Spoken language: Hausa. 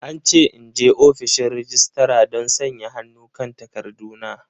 An ce in je ofishin registra don sanya hannu kan takarduna.